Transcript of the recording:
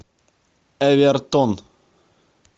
эвертон